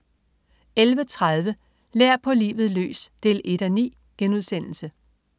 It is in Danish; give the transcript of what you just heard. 11.30 Lær på livet løs 1:9*